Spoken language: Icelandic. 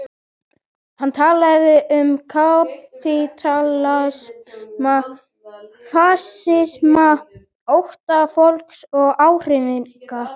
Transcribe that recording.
Hann talaði um kapítalisma, fasisma, ótta fólks og áhrifagirni.